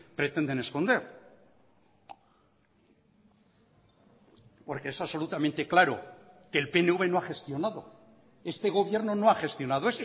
pretenden esconder porque es absolutamente claro que el pnv no ha gestionado este gobierno no ha gestionado